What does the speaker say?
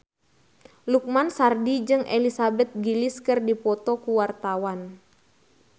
Lukman Sardi jeung Elizabeth Gillies keur dipoto ku wartawan